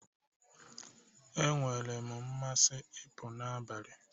E nwere mmasị ị pụọ n'abalị